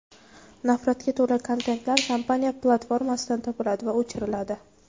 Nafratga to‘la kontentlar kompaniya platformasidan topiladi va o‘chiriladi.